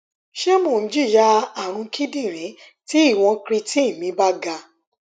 se mo jinya arun kidirin ti iwon creatine me ba ga